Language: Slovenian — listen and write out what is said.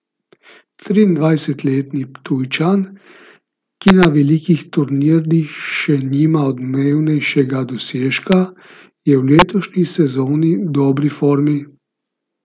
Triindvajsetletni Ptujčan, ki na velikih turnirjih še nima odmevnejšega dosežka, je v letošnji sezoni v dobri formi.